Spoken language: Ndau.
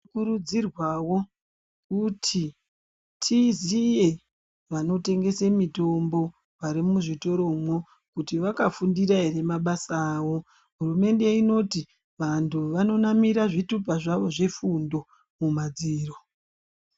Tinokurudzirwawo kuti tiziye vanotengese mitombo ,vari muzvitoromwo, kuti vakafundira ere mabasa avo. Hurumende inoti, vantu vanonanira zvithupa zvavo zvefundo mumadziro.